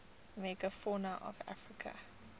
megafauna of africa